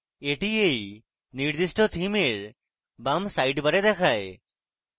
এটি এই নির্দিষ্ট theme এর বাম সাইডবারে দেখায়